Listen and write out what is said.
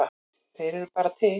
Þeir eru bara til.